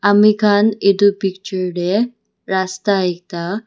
ami khan itu picture te rasta ekta.